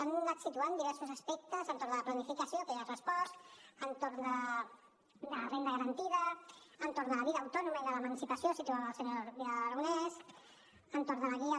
han anat situant diversos aspectes entorn de la planificació que ja he respost entorn de la renda garantida entorn de la vida autònoma i de l’emancipació ho situava el senyor vidal aragonés entorn de la guia